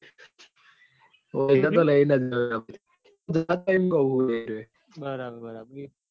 હોવ એન તો લઇ જ જવાય બરાબર બરાબર.